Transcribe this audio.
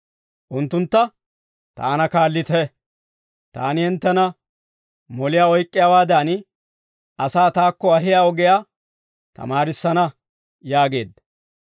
Unttuntta, «Taana kaallite; taani hinttena moliyaa oyk'k'iyaawaadan asaa taakko ahiyaa ogiyaa tamaarissana» yaageedda.